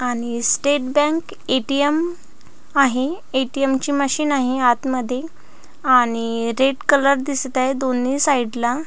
आणि State Bank ATM. आहे ATM. ची मशीन आहे आत मध्ये आणि रेड कलर दिसत आहे दोनी साइड ला--